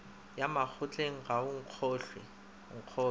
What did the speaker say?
ya makgotleng ga o nkgolwe